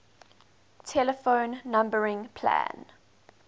telephone numbering plan